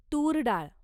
तूर डाळ